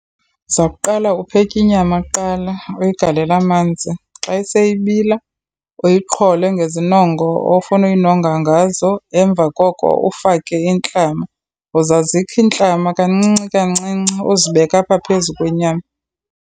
Uza kuqala upheki inyama kuqala, uyigalela manzi. Xa iseyibila, uyiqhole ngezinongo ofuna uyinonga ngazo. Emva koko ufake intlama. Uza zikha iintlama kancinci kancinci, uzibeke apha phezu kwenyama.